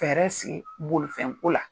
Fɛɛrɛ sigi bolofɛnko la.